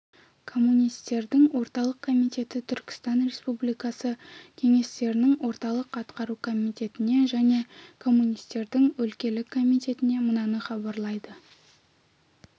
коммунистердің орталық комитеті түркістан республикасы кеңестерінің орталық атқару комитетіне және коммунистердің өлкелік комитетіне мынаны хабарлайды